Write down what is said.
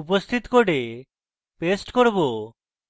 উপস্থিত code paste করব